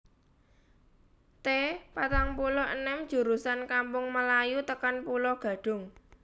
T patang puluh enem jurusan Kampung Melayu tekan Pulo Gadung